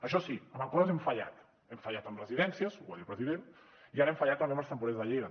això sí en coses hem fallat hem fallat en residències ho va dir el president i ara hem fallat també amb els temporers de lleida